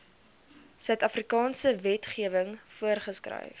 suidafrikaanse wetgewing voorgeskryf